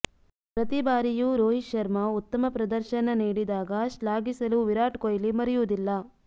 ಪ್ರತಿ ಬಾರಿಯೂ ರೋಹಿತ್ ಶರ್ಮಾ ಉತ್ತಮ ಪ್ರದರ್ಶನ ನೀಡಿದಾಗ ಶ್ಲಾಘಿಸಲು ವಿರಾಟ್ ಕೊಹ್ಲಿ ಮರೆಯುವುದಿಲ್ಲ